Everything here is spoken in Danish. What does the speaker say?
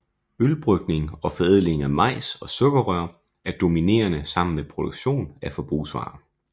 Ølbrygning og forædling af majs og sukkerrør er dominerende sammen med produktion af forbrugsvarer